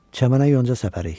Çəmənə yonca səpərik.